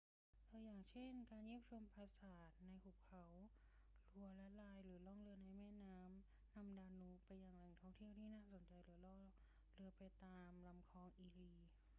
ตัวอย่างเช่น การเยี่ยมชมปราสาทในหุบเขาลัวร์และไรน์ หรือล่องเรือในแม่น้ำดานูบไปยังแหล่งท่องเที่ยวที่น่าสนใจ หรือล่องเรือไปตามลำคลองอีรี